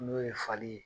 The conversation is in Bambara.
N'o ye fali ye